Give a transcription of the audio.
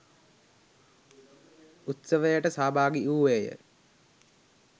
උත්සවයට සහභාගි වූයේය